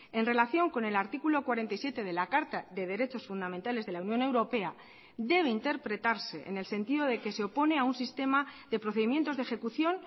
en relación con el artículo cuarenta y siete de la carta de derechos fundamentales de la unión europea debe interpretarse en el sentido de que se opone a un sistema de procedimientos de ejecución